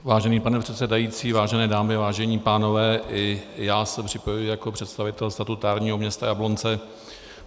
Vážený pane předsedající, vážené dámy, vážení pánové, i já se připojuji jako představitel statutárního města Jablonce.